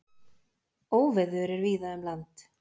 Óveður er víða um land.